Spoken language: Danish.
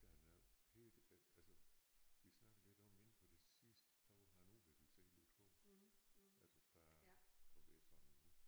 Han er jo helt altså vi snakkede lidt om inden for det sidste år har han udviklet sig utroligt altså fra at være sådan